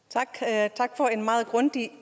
at